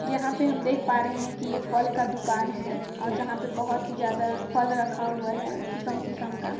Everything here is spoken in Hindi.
यहाँ पे हम देख पा रहे है की ये फल का दुकान है और जहाँ पे बहोत ही ज्यादा फल रखा हुआ है किसम-किसम का--